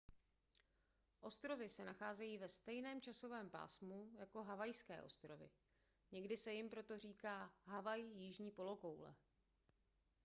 ostrovy se nacházejí ve stejném časovém pásmu jako havajské ostrovy někdy se jim proto říká havaj jižní polokoule